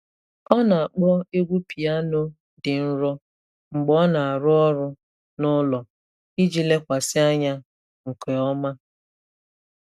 Ọ na-akpọ egwu piano dị nro mgbe ọ na-arụ ọrụ n’ụlọ iji lekwasị anya nke ọma.